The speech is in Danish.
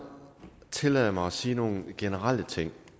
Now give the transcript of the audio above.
tillade mig at sige nogle generelle ting